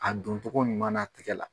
A doncogo ɲuman na tigɛ la.